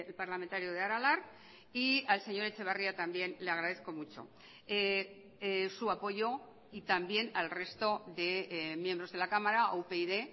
parlamentario de aralar y al señor etxebarria también le agradezco mucho su apoyo y también al resto de miembros de la cámara a upyd